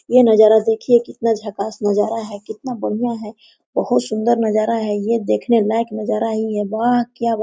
यह नजारा देखिये कितना झकाश नजारा है कितना बढ़िया है बहुत सुन्दर नजारा है ये देखने लायक नजारा ही है वाह क्या --